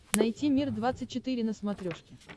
найти мир двадцать четыре на смотрешке